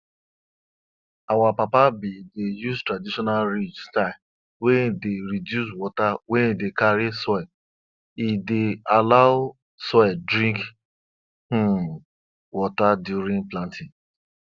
e go make dem prepare the animal skin well before dem make the leather so dat e no go spoil or get odour